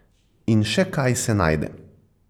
In še kaj se najde.